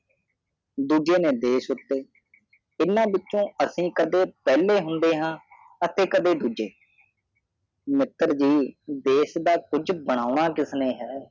ਦੂਜੇ ਨਿ ਦੇਸ਼ ਉਤੇ ਤਿਨਾ ਵਿਚੋ ਅਸਿ ਕਾਦੇ ਪਹਲੇ ਹੰਦੇ ਆਹ ਅਰਤੇ ਕਾਦੇ ਦੁਝੇ ਮਿਤ੍ਰ ਨਜੀ ਦੇਸ ਦਾ ਕੁਛ ਬੰਨਾ ਕਿਸਨੇ ਹੈ